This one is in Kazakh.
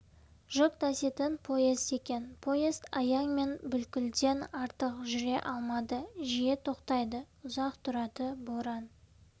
жүк таситын поезд екен поезд аяң мен бүлкілден артық жүре алмады жиі тоқтайды ұзақ тұрады боран